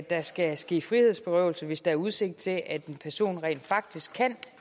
der skal ske frihedsberøvelse hvis der er udsigt til at en person rent faktisk kan